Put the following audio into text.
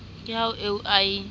ke ha eo a e